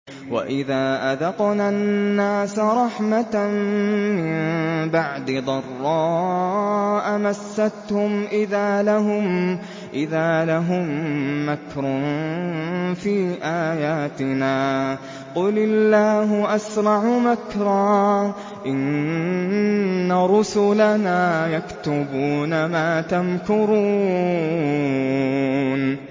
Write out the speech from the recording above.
وَإِذَا أَذَقْنَا النَّاسَ رَحْمَةً مِّن بَعْدِ ضَرَّاءَ مَسَّتْهُمْ إِذَا لَهُم مَّكْرٌ فِي آيَاتِنَا ۚ قُلِ اللَّهُ أَسْرَعُ مَكْرًا ۚ إِنَّ رُسُلَنَا يَكْتُبُونَ مَا تَمْكُرُونَ